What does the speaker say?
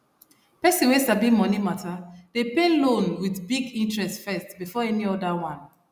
person wey sabi money matter dey pay loan with big interest first before any other one